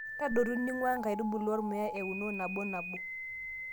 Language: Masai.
Tadotu ning'uaa enkaitubului ormuya euno nabonabo.